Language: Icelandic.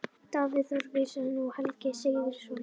Davíð Þór Viðarsson og Helgi SIgurðsson í baráttunni.